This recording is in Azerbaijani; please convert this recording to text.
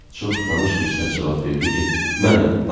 Çox tanış bir səs cavab verdi ki, mənəm.